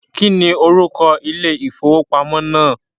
Kíni orúkọ ilé ifówópamọ́ náà?